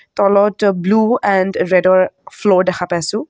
তলত blue and ৰেদৰ floor দেখা পাইছোঁ।